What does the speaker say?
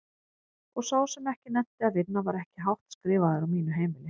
Og sá sem ekki nennti að vinna var ekki hátt skrifaður á mínu heimili.